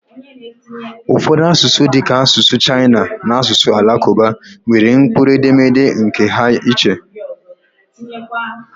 Ụfọdụ asụsụ dịka asụsụ Chaịna na asụsụ Alakụba nwere mkpụrụ edemede nkè ha iche